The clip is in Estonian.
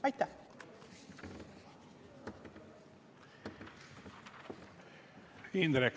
Aitäh!